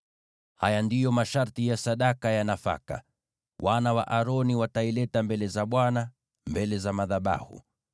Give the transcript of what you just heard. “ ‘Haya ndiyo masharti ya sadaka ya nafaka: Wana wa Aroni wataileta mbele za Bwana , mbele za madhabahu.